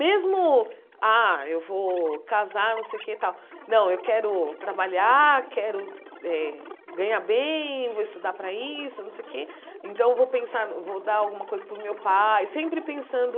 Mesmo, ah, eu vou casar, não sei o que tal, não, eu quero trabalhar, eh quero ganhar bem, vou estudar para isso, não sei o que, então vou pensar, vou dar alguma coisa para o meu pai, sempre pensando